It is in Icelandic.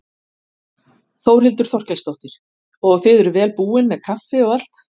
Þórhildur Þorkelsdóttir: Og þið eruð vel búin með kaffi og allt?